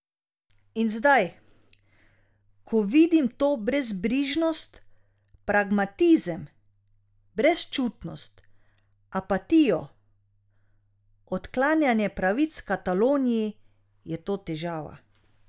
In zdaj, ko vidim to brezbrižnost, pragmatizem, brezčutnost, apatijo, odklanjanje pravic Kataloniji, je to težava.